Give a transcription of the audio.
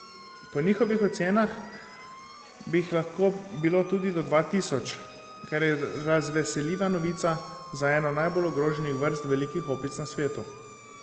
Po njihovih ocenah bi jih lahko bilo tudi do dva tisoč, kar je razveseljiva novica za eno najbolj ogroženih vrst velikih opic na svetu.